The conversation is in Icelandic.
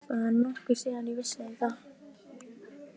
Það er nokkuð síðan ég vissi þetta.